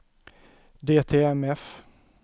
DTMF